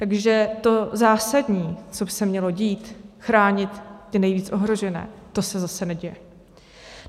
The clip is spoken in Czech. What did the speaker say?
Takže to zásadní, co by se mělo dít, chránit ty nejvíc ohrožené, to se zase neděje.